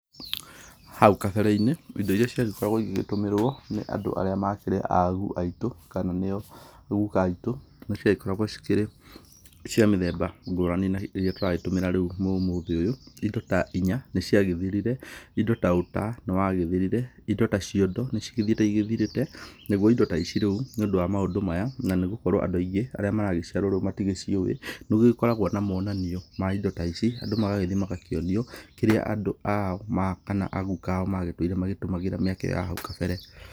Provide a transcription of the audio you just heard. Hau kabere-inĩ, indo irĩa ciagĩkoragwo igĩgĩtũmĩrwo nĩ andũ arĩa makĩrĩ agu aitũ kana nĩyo guka aitũ, nĩ ciagĩkoragwo cikĩrĩ cia mũthemba ngũrani na irĩa tũragĩtũmĩra rĩu ũmũthĩ ũyũ, indo ta inya nĩ ciagĩthirire, indo ta ũta nĩ wagĩthirire, indo ta ciondo nĩ cigĩthiĩte igĩthirĩte naguo indo ta ici rĩu, nĩũndũ wa maũndũ maya nĩ gũkorwo andũ aingĩ, arĩa maragĩciarwo rĩu matigĩciũwĩ, nĩ gũgĩkoragwo na monanio ma indo ta ici, andũ magagĩthiĩ magakĩonio kĩrĩa andũ ao kana aguka ao magĩtũire magĩtũmagĩra mĩaka ĩyo ya hau kabere.